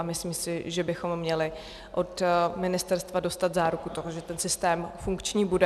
A myslím si, že bychom měli od ministerstva dostat záruku toho, že ten systém funkční bude.